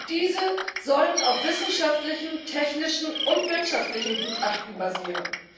Diese sollen auf wissenschaftlichen, technischen und wirtschaftlichen Gutachten basieren.